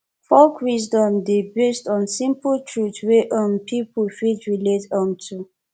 folk wisdom dey based on simple truth wey um pipo fit relate um to